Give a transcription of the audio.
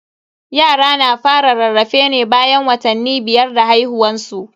Yara na fara rarrafe ne bayan watanni biyar da haihuwan su.